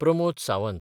Pramod Sawant